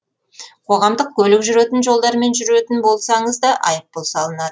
қоғамдық көлік жүретін жолдармен жүретін болсаңыз да айыппұл салынады